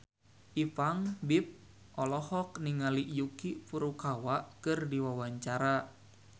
Ipank BIP olohok ningali Yuki Furukawa keur diwawancara